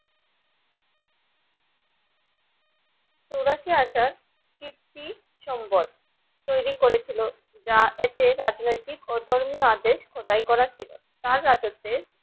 চুরাশি হাজার কিরতি সম্বধ তৈরি করেছিল যা এতে রাজনৈতিক ও ধর্মীয় আদেশ খোদাই করা ছিল